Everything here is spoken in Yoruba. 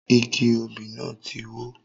Igi òbí náà tí wó